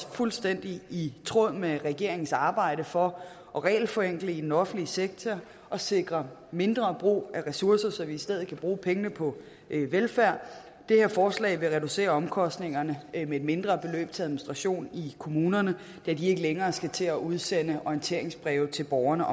fuldstændig i tråd med regeringens arbejde for at regelforenkle i den offentlige sektor og sikre mindre brug af ressourcer så vi i stedet kan bruge penge på velfærd det her forslag vil reducere omkostningerne med et mindre beløb til administration i kommunerne da de ikke længere skal til at udsende orienteringsbreve til borgerne